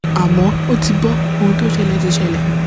àmọ ó ti bo ohun tó ṣẹlẹ ti ṣẹlẹ